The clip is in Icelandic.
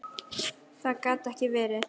Það gat ekki verið.